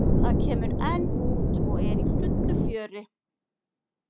Það kemur enn út og er í fullu fjöri.